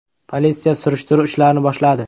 Politsiya surishtiruv ishlarini boshladi.